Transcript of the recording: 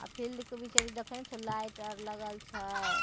अ field के बीचे-बीचे देखै नय छो लाइट अर लगल छय।